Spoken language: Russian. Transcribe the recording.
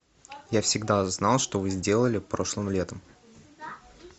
я всегда знал что вы сделали прошлым летом